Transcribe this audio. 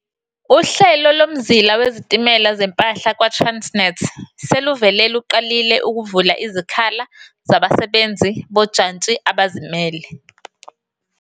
Uhlelo Lomzila Wezitimela Zempahla kwa-Transnet seluvele luqalile ukuvula izikhala zabasebenzisi bojantshi abazimele.